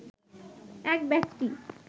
এক ব্যক্তি